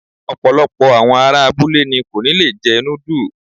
Ọ̀pọ̀lọpọ̀ àwọn ará abúlé ni kò ní lè jẹ núdù.